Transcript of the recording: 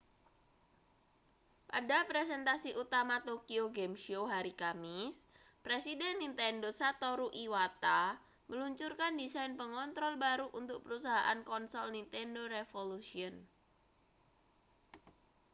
pada presentasi utama tokyo game show hari kamis presiden nintendo satoru iwata meluncurkan desain pengontrol baru untuk perusahaan konsol nintendo revolution